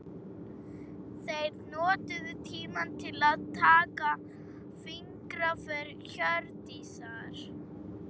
Þeir notuðu tímann til að taka fingraför Hjördísar.